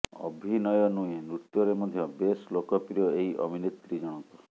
ଅଭିନୟ ନୁହେଁ ନୃତ୍ୟରେ ମଧ୍ୟ ବେଶ୍ ଲୋକପ୍ରିୟ ଏହି ଅଭିନେତ୍ରୀଜଣକ